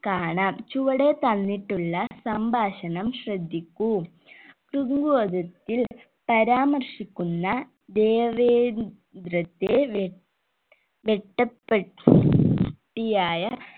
കാണാം ചുവടെ തന്നിട്ടുള്ള സംഭാഷണം ശ്രദ്ധിക്കൂ തൃങ്കോചത്തിൽ പരാമർശിക്കുന്ന ദേവേന്ദ്രത്തെ വേ വേട്ട പെ ട്ടിയായ